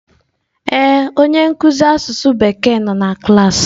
Ee, onye nkuzi asụsụ Bekee nọ na klaasị.